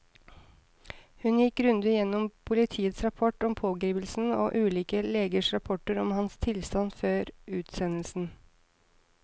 Hun gikk grundig gjennom politiets rapport om pågripelsen og ulike legers rapporter om hans tilstand før utsendelsen.